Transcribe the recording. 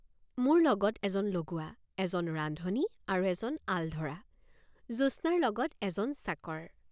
মোৰ লগত এজন লগুৱাএজন ৰান্ধনি আৰু এজন আলধৰা জ্যোৎস্নাৰ লগত এজন চাকৰ।